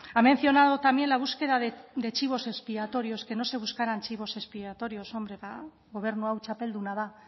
ha mencionado también la búsqueda de chivos expiatorios que no se buscaran chivos expiatorios hombre ba gobernu hau txapelduna da